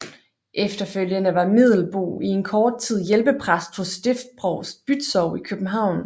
Efterfølgende var Middelboe i en kort tid hjælpepræst hos stiftsprovst Bützow i København